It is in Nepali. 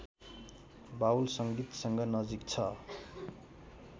बाउल संगीतसँग नजिक छ